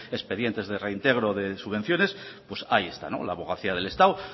expedientes de reintegro de subvenciones pues ahí está o la abogacía del estado